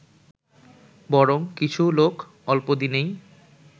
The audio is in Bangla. বরং কিছু লোক অল্পদিনেই